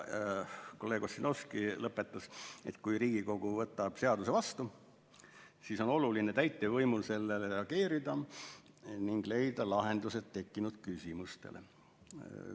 Kolleeg Ossinovski lõpetas sellega, et kui Riigikogu võtab seaduse vastu, siis on oluline täitevvõimul sellele reageerida ning leida lahendused tekkinud küsimustele.